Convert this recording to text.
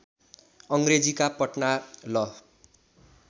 अङ्ग्रेजीका पटना ल